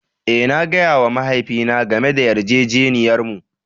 Eh, na gaya wa mahaifina game da yarjejeniyarmu.